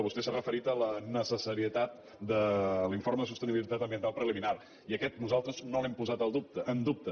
vostè s’ha referit a la necessarietat de l’informe de sostenibilitat ambiental preliminar i aquest nosaltres no l’hem posat en dubte